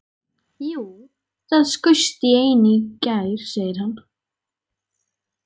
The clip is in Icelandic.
Jú, það skaust ein í gær, segir hann.